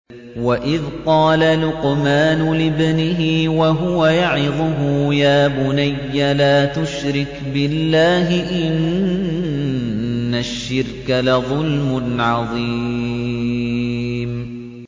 وَإِذْ قَالَ لُقْمَانُ لِابْنِهِ وَهُوَ يَعِظُهُ يَا بُنَيَّ لَا تُشْرِكْ بِاللَّهِ ۖ إِنَّ الشِّرْكَ لَظُلْمٌ عَظِيمٌ